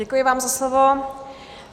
Děkuji vám za slovo.